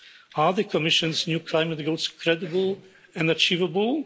Are the Commission's new climate goals credible and achievable?